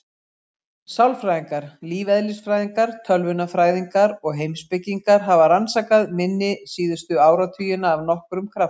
Sálfræðingar, lífeðlisfræðingar, tölvunarfræðingar og heimspekingar hafa rannsakað minni síðustu áratugina af nokkrum krafti.